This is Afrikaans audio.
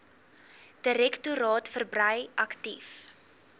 direktoraat verbrei aktief